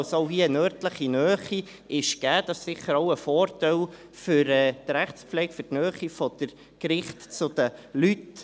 Auch hier ist also eine örtliche Nähe gegeben, was sicher auch ein Vorteil für die Rechtspflege ist, für die Nähe der Gerichte zu den Leuten.